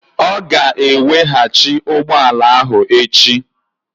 Ọ ga-eweghachi ụgbọ ala ahụ echi.